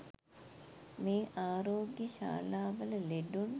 මේ ආරෝග්‍ය ශාලාවල ලෙඩුන්